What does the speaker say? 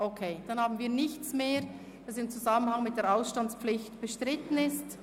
Einverstanden, dann haben wir nichts mehr, was im Zusammenhang mit der Ausstandspflicht bestritten ist.